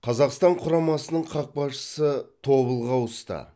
қазақстан құрамасының қақпашысы тобылға ауысты